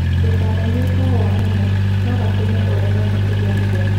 Ndũkananyue kahũa mũno; no gatũme ũremwo kũgĩa ciana.